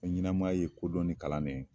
Ko ɲɛnamaya ye kodɔn ni kalannen ye.